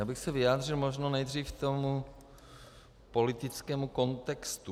Já bych se vyjádřil možná nejdřív k tomu politickému kontextu.